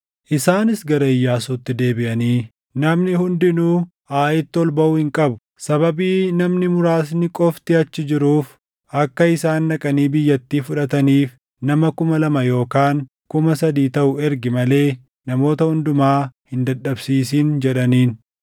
Isaanis gara Iyyaasuutti deebiʼanii, “Namni hundinuu Aayitti ol baʼuu hin qabu. Sababii namni muraasni qofti achi jiruuf akka isaan dhaqanii biyyattii fudhataniif nama kuma lama yookaan kuma sadii taʼu ergi malee namoota hundumaa hin dadhabsiisin” jedhaniin.